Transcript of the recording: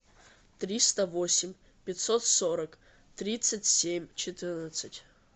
триста восемь пятьсот сорок тридцать семь четырнадцать